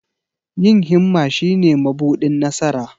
Yin himma shine mabuɗin nasara.